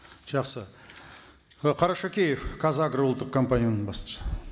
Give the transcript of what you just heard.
жақсы і қарашөкеев қазагро ұлттық компанияның басшысы